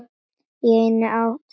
Í einn áratug eða svo.